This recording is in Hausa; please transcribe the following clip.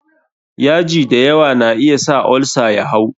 yaji da yawa na iya sa olsa ya hau.